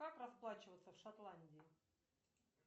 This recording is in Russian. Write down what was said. как расплачиваться в шотландии